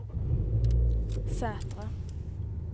Sætre